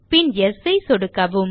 பின் Yesஐ சொடுக்கவும்